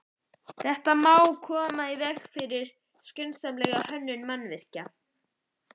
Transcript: Þetta má koma í veg fyrir með skynsamlegri hönnun mannvirkja.